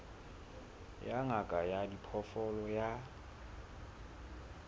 ya ngaka ya diphoofolo ya